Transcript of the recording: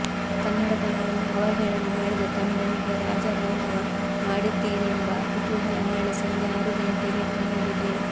ಕನ್ನಡತನವನ್ನು ಅವಹೇಳನ ಮಾಡಿದ ತಮಿಳನಿಗೆ ರಾಜ ರಾಂಧವ ಮಾಡಿದ್ದೇನೆಂಬ ಕುತೂಹಲ ನಾಳೆ ಸಂಜೆ ಆರು ಘಂಟೆಗೆ ತಣಿಯಲಿದೆ